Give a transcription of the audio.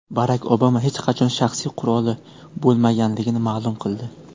Barak Obama hech qachon shaxsiy quroli bo‘lmaganligini ma’lum qildi.